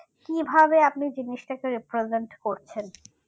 কিভাবে আপনি জিনিসতাকে represent করছেন